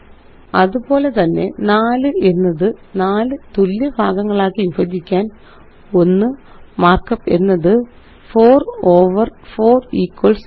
അതുപോലെത്തന്നെ 4 എന്നത് 4 തുല്യഭാഗങ്ങളാക്കി വിഭജിക്കാന് 1 മാര്ക്കപ്പ് എന്നത്160 4 ഓവർ 4 ഇക്വൽസ് 1